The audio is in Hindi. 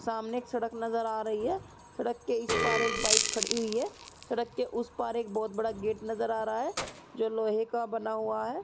सामने एक सड़क नजर आ रही है। सड़क के इस पार एक बाइक खड़ी हुई है। सड़क के उस पार एक बहोत बड़ा गेट नजर आ रही है जो लोहे का बना हुआ है।